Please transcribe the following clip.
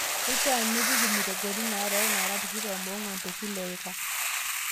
Keishaa nipik imutegoni naarook naara tikitam oong'uan te Kila eika.